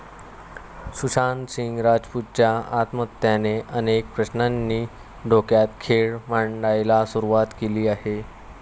सुशांत सिंग राजपूतच्या आत्महत्येने अनेक प्रश्नांनी डोक्यात खेळ मांडायला सुरवात केली आहे.